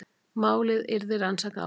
Málið yrði rannsakað áfram